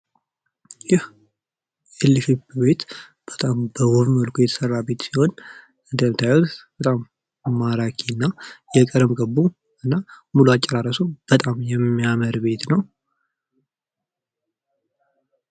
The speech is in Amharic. ይህ ኤል ቅርጽ ቤት በጣም በውብ መልኩ የተሰራ ቤት ሲሆን እንደምታዩት በጣም ማራኪ አና የቀለም ቅቡ አና ሙሉ አጨራረሱ በጣም የሚያምር ቤት ነው።